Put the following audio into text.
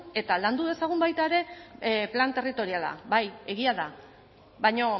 eta landu dezagun baita ere plan territoriala bai egia da baina